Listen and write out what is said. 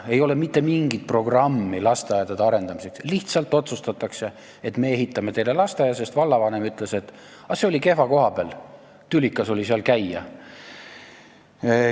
Ei ole mitte mingit programmi lasteaedade arendamiseks, lihtsalt otsustatakse, et me ehitame teile lasteaia, sest vallavanem ütles, et vana oli kehva koha peal, tülikas oli seal käia.